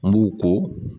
N b'u ko